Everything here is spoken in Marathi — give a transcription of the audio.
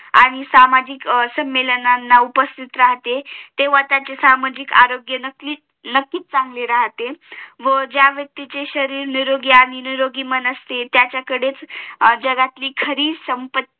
आणि सामाजिक सम्मेलनाला उपस्तित राहते तेव्हा त्यांचे सामाजिक आरोग्य नक्कीच चांगले राहते व ज्या व्यक्तीचे शरीर निरोगी आणि निरोगी मन असते त्याच्याकडेच जगातली सगळी संपत्ती